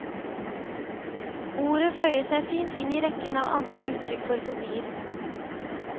Ordet føyer seg fint inn i rekken av andre uttrykk for fobier.